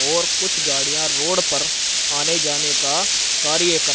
और कुछ गाड़ियां रोड पर आने जाने का कार्य कर--